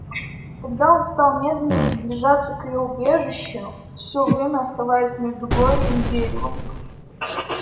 тогда он стал медленно приближаться к её убежищу все время оставаясь между глорией и деревом